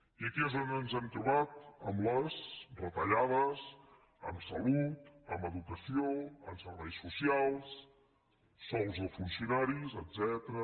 i aquí és on ens hem trobat amb les retallades en salut en educació en serveis socials sous de funcionaris etcètera